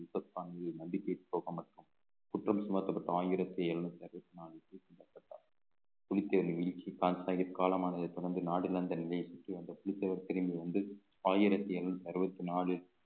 யூசப்கானின் மண்டி பேச்சு போக மாட்டோம் குற்றம் சுமத்தப்பட்ட ஆயிரத்தி எழுநூத்தி அறுபத்தி நான்கு புலித்தேணி யூசப்கான் சாஹிப் காலமானதை தொடர்ந்து புலித்தேவர் திரும்பி வந்து ஆயிரத்தி எழுநூத்தி அறுபத்தி நாலு